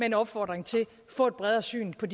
en opfordring til at få et bredere syn på